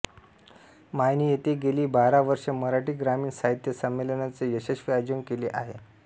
मायणी येथे गेली बारा वर्षे मराठी ग्रामीण साहित्य संमेलनाचे यशस्वी आयोजन केले आहे